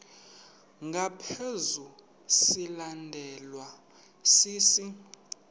ngaphezu silandelwa sisi